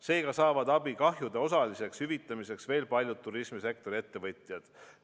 Seega saavad abi kahjude osaliseks hüvitamiseks veel paljud turismisektori ettevõtjad.